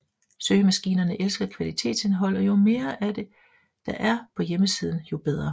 Søgemaskinerne elsker kvalitetsindhold og jo mere af det er der på hjemmesiden jo bedre